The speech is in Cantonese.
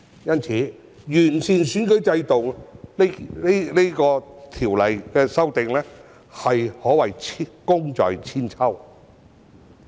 因此，完善選舉制度的《條例草案》，可謂功在千秋。